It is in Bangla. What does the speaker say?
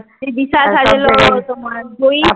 দিশা সাজলো তোমার জয়ী সাজলো